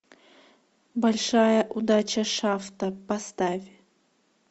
большая удача шафта поставь